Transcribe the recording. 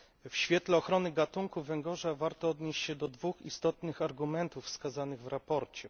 W świetle ochrony gatunków węgorza warto odnieść się do dwóch istotnych argumentów wskazanych w sprawozdaniu.